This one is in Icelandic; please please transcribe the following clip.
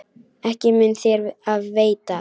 Ekki mun þér af veita.